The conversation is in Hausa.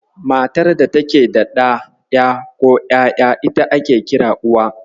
Matar da take da ɗa, ƴa, ko ƴaƴa, ita ake kira Uwa.